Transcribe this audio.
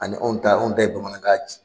Ani anw ta anw ta ye bamanankan ci